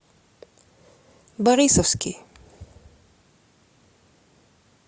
борисовский